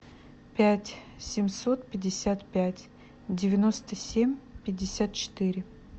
пять семьсот пятьдесят пять девяносто семь пятьдесят четыре